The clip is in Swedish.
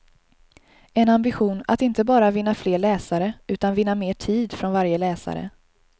En ambition att inte bara vinna fler läsare utan vinna mer tid från varje läsare.